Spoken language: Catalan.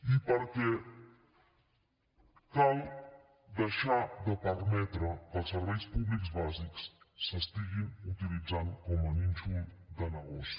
i perquè cal deixar de permetre que els serveis públics bàsics s’estiguin utilitzant com a nínxol de negoci